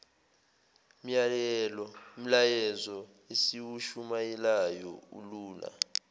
myalezo esiwushumayelayo ulula